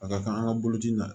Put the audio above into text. A ka kan an ka boloci in na